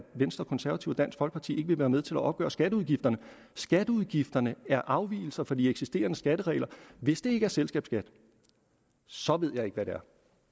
venstre konservative og dansk folkeparti ikke vil være med til at opgøre skatteudgifterne skatteudgifterne er afvigelser fra de eksisterende skatteregler hvis det ikke er selskabsskat så ved jeg ikke hvad det